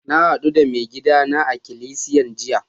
Na haddu da maigida na a'ikilisiyan jiya.